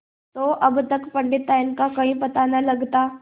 तो अब तक पंडिताइन का कहीं पता न लगता